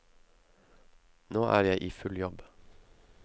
Nå er jeg i full jobb.